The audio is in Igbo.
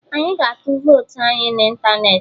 Anyị ga-atu votu anyị na ịntanetị